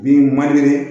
Bin man deli